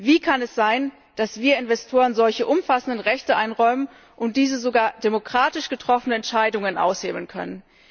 Wie kann es sein, dass wir Investoren solche umfassenden Rechte einräumen und diese sogar demokratisch getroffene Entscheidungen aushebeln können?